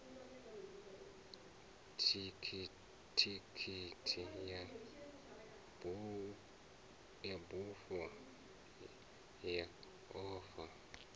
thikhithi ya bufho ya uya